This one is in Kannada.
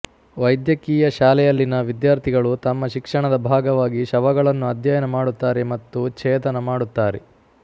ವೈದ್ಯಕೀಯ ಶಾಲೆಯಲ್ಲಿನ ವಿದ್ಯಾರ್ಥಿಗಳು ತಮ್ಮ ಶಿಕ್ಷಣದ ಭಾಗವಾಗಿ ಶವಗಳನ್ನು ಅಧ್ಯಯನ ಮಾಡುತ್ತಾರೆ ಮತ್ತು ಛೇದನ ಮಾಡುತ್ತಾರೆ